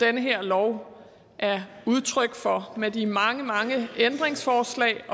her lov er udtryk for med de mange mange ændringsforslag